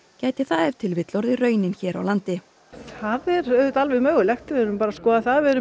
gæti það orðið raunin hér á landi það er auðvitað alveg mögulegt við verðum bara að skoða það við erum